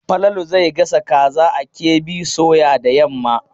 Falalu zai gasa kaza a KB soya da yamma.